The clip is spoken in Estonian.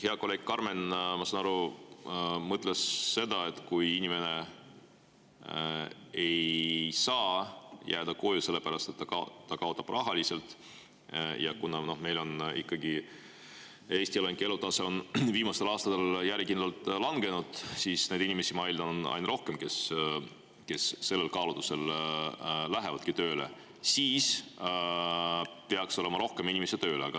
Hea kolleeg Karmen, ma saan aru, mõtles seda, et kui inimene ei saa jääda koju selle pärast, et ta kaotab rahaliselt – ja kuna Eesti elanike elutase on viimastel aastatel järjekindlalt langenud, siis neid inimesi, kes sellel kaalutlusel tööle lähevad, on aina rohkem, ma eeldan –, siis peaks olema rohkem inimesi tööl.